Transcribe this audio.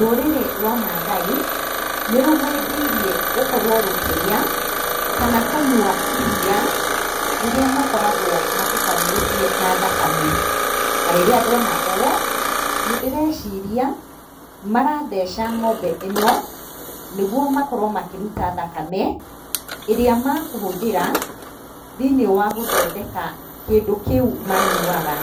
Rũrĩrĩ rwa Maathai nĩ rũhĩmbĩirie gũkorwo rũkĩrĩa kana kũnyua iriia rĩrĩa makoragwo matukanĩtie na thakame. Na rĩrĩa ndona ũũ, nĩ ndĩreciria maratheca ng'ombe ĩno nĩ guo makorwo makĩruta thakame ĩrĩa mekũhũthĩra thĩiniĩ wa gũthondeka kĩndũ kĩu manyuaga.